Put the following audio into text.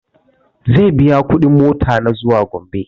Zai biya kuɗin mota na zuwa gombe